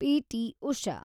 PT. Usha